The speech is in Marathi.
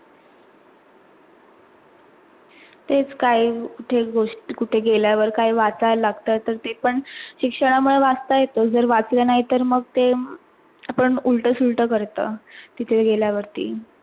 तेच काही जे गोष्टी कुठे गेल्यावर काय वाचाय लागतात तर ते पण शिक्षणा मुळे वाचता येत झर वाचल नाही, तर मग ते अपण उलट सुलट करतो तिथे गेल्या वरती.